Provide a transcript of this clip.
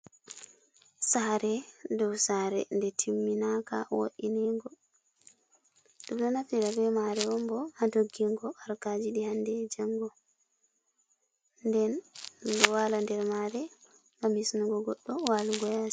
Sare dow sare nde timminaka wo'inego, ɓeɗo naftira ɓe mare on bo ha ndoggingo harkaji ɗi hande e jango den min ɗo wala ha der mare gam hisnugo goɗɗo walugo yasi.